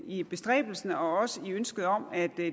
i bestræbelserne og også i ønsket om at